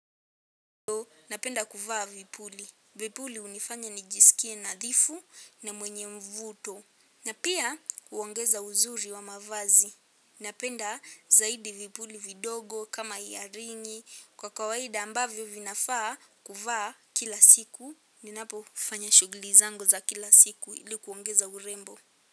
Napenda kuvaa vipuli. Vipuli hunifanya nijisikie nadhifu na mwenye mvuto. Na pia kuongeza uzuri wa mavazi. Napenda zaidi vipuli vidogo kama ya ringi. Kwa kawaida ambavyo vinafaa kuvaa kila siku. Ninapo ufanya shuguli zangu za kila siku ilikuongeza urembo.